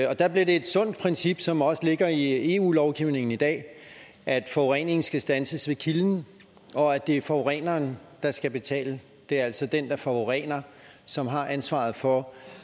og der blev det et sundt princip som også ligger i eu lovgivningen i dag at forureningen skal standses ved kilden og at det er forureneren der skal betale det er altså den der forurener som har ansvaret for